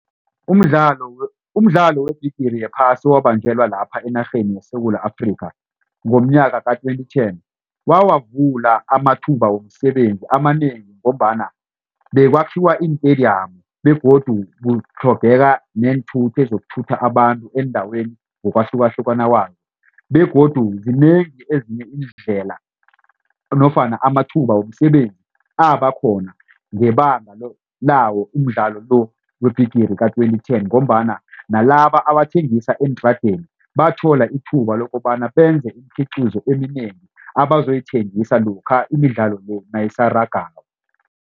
Umdlalo webhigiri yephasi owabanjelwa lapha enarheni yeSewula Afrikha ngomnyaka ka-twenty ten wawavula amathuba womsebenzi amanengi ngombana bekwakhiwa iintediyamu begodu kutlhogeka neenthuthi ezizokuthutha abantu eendaweni ngokwahlukahlukana kwazo. Begodu zinengi ezinye iindlela nofana amathuba womsebenzi abakhona ngebanga lawo umdlalo lo webhigiri ka-twenty ten ngombana nalaba abathengisa eentradeni bathola ithuba lokobana benze imikhiqizo eminengi abazoyithengisa lokha imidlalo le nayisarageko.